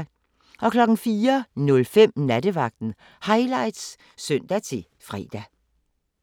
04:05: Nattevagten Highlights (søn-fre)